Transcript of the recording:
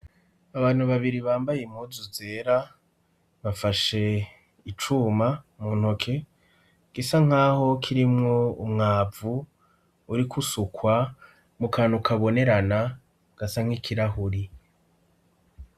Abantu babiri bambaye imuzu zera bafashe icuma mu ntoke gisa nk'aho kirimwo umwavu uriko usukwa mu kanta ukabonerana gasa nk'ikirahuri.